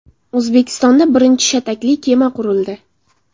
O‘zbekistonda birinchi shatakli kema qurildi.